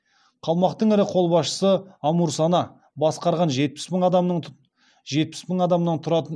қалмақтың ірі қолбасшысы амурсана басқарған жетпіс мың адамнан тұратын